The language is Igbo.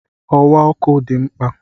Ọwa ọkụ dị mkpa